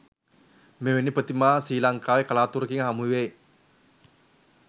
මෙවැනි ප්‍රතිමා ශ්‍රී ලංකාවේ කලාතුරකින් හමුවෙයි